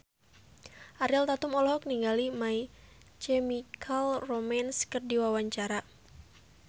Ariel Tatum olohok ningali My Chemical Romance keur diwawancara